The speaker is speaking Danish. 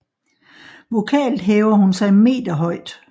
Vokalt hæver hun sig meter højt